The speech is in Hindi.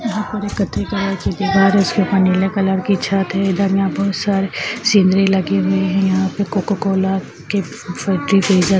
यहाॅं पर की दीवार है उसके ऊपर नीले कलर की छत है। इधर यहाॅं बोहोत सारी सिनरी लगी हैं। यहाॅं पर कोकाकोला के फ्रीजर